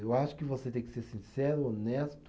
Eu acho que você tem que ser sincero, honesto.